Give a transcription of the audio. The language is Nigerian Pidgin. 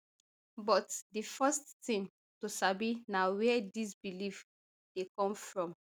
but di first tin to sabi na wia dis belief dey come from